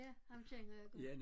Ja ham kender jeg godt